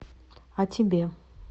о тебе